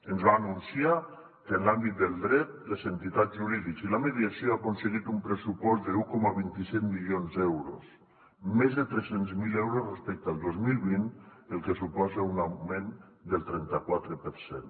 ens va anunciar que en l’àmbit del dret les entitats jurídiques i la mediació han aconseguit un pressupost d’un coma vint set milions d’euros més de tres cents miler euros respecte al dos mil vint el que suposa un augment del trenta quatre per cent